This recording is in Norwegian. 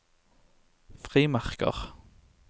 frimerker